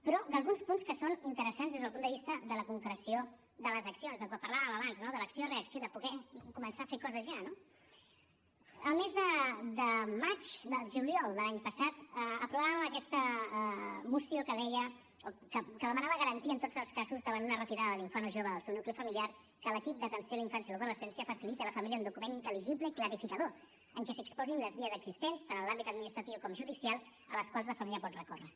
però d’alguns punts que són interessants des del punt de vista de la concreció de les accions del que parlàvem abans no de l’acció reacció de poder començar a fer coses ja no el mes de juliol de l’any passat aprovàvem aquesta moció que deia que demanava garantia en tots els casos davant una retirada de l’infant o jove del seu nucli familiar que l’equip d’atenció a la infància i l’adolescència faciliti a la família un document intel·ligible i clarificador en què s’exposin les vies existents tant en l’àmbit administratiu com judicial a les quals la família pot recórrer